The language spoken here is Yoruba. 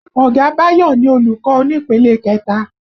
Ọ̀gá Bayo ni olùkọ́ onípele kẹta